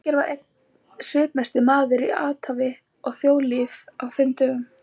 Birgir var einn svipmesti maður í athafna- og þjóðlífi á þeim dögum.